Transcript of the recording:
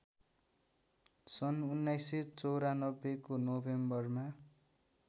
सन् १९९४ को नोभेम्बरमा